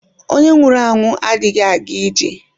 Onye nwụrụ anwụ adịghị aga ije.